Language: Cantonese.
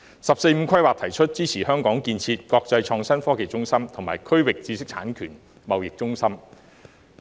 《十四五規劃綱要》提出支持香港建設國際創新科技中心和區域知識產權貿易中心。